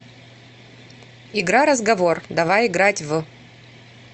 игра разговор давай играть в